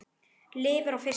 Lifir á fiski.